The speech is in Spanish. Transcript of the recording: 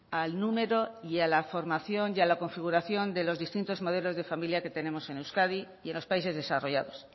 al número y a la formación y a la configuración de los distintos modelos de familia que tenemos en euskadi y en los países desarrollados